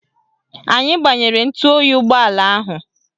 Anyị gbanyere ntụoyi ụgbọala ahụ